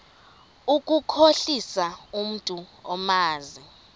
ukukhohlisa umntu omazi